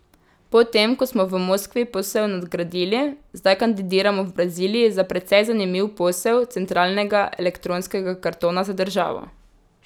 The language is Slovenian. Po tem, ko smo v Moskvi posel nadgradili, zdaj kandidiramo v Braziliji za precej zanimiv posel centralnega elektronskega kartona za državo.